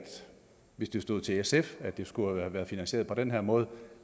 hvis det stod til sf skulle have været finansieret på den her måde